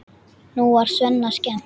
Nú er Svenna skemmt.